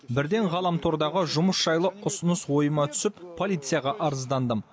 бірден ғаламтордағы жұмыс жайлы ұсыныс ойыма түсіп полицияға арыздандым